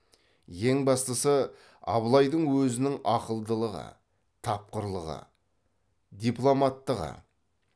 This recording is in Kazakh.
ең бастысы абылайдың өзінің ақылдылығы тапқырлығы дипломаттығы